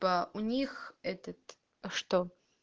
у них этот что